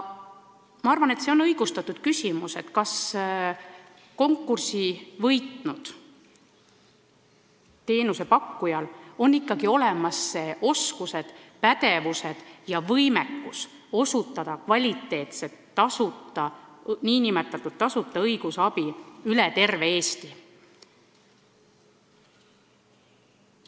Ma arvan, et on õigustatud küsimus, kas konkursi võitnud teenusepakkujal ikka on olemas oskused, pädevus ja võimekus anda kvaliteetset õigusabi üle terve Eesti.